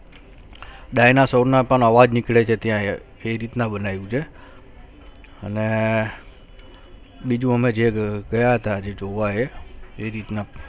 dinosaur ના પણ અવાજ નીકળે છે ત્યાયે તે રીત ના બનાવ્યું છે અને બીજુ હમે જે ગયા તા જે જોવા એ એ રીતના